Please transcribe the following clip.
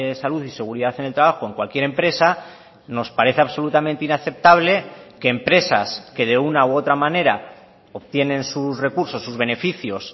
salud y seguridad en el trabajo en cualquier empresa nos parece absolutamente inaceptable que empresas que de una u otra manera obtienen sus recursos sus beneficios